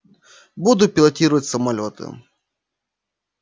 буду пилотировать самолёты